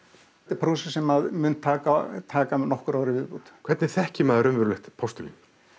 prósess sem mun taka taka mig nokkur ár í viðbót hvernig þekkir maður alvöru postulín